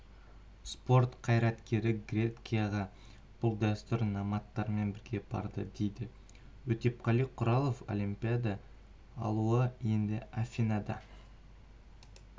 спорт қайраткері грекияға бұл дәстүр номадтармен бірге барды дейді өтепқали құралов олимпиада алауы енді афинада